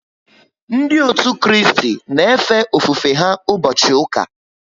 Ndị òtù Kristi na efe ofufe ha ụbọchị ụka